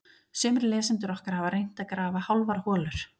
Sumir lesendur okkar hafa reynt að grafa hálfar holur.